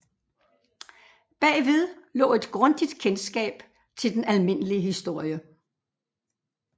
Bagved lå et grundigt kendskab til den almindelige historie